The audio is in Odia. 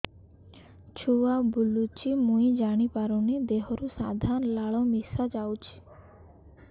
ଛୁଆ ବୁଲୁଚି ମୁଇ ଜାଣିପାରୁନି ଦେହରୁ ସାଧା ଲାଳ ମିଶା ଯାଉଚି